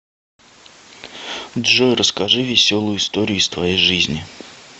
джой расскажи веселую историю из твоей жизни